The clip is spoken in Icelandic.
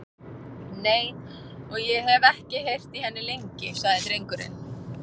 Nei, og ég hef ekki heyrt í henni lengi, sagði drengurinn.